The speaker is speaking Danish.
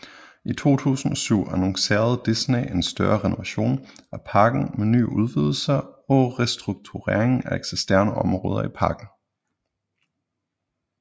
I 2007 annoncerede Disney en større renovation af parken med nye udvidelser og restrukturering af eksisterende områder i parken